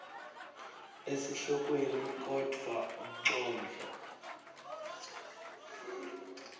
esihlokweni kodvwa umcondvo